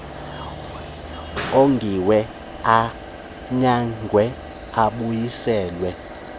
ongiwe anyangwe abuyiselwe